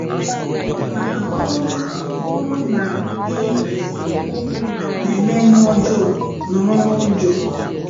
Mana ọ bụrụ bụrụ na ị na-eme ihe ọjọọ, nọrọ n'ụjọ.